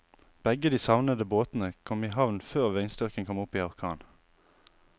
Begge de savnede båtene kom i havn før vindstyrken kom opp i orkan.